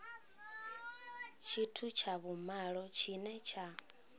tshithu tsha vhumalo tshine tsha